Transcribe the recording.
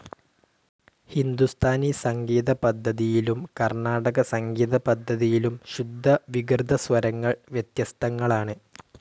ഹിന്ദുസ്ഥാനി സംഗീതപദ്ധതിയിലും കർണ്ണാടക സംഗീതപദ്ധതിയിലും ശുദ്ധ വികൃതസ്വരങ്ങൾ വ്യത്യസ്തങ്ങളാണ്.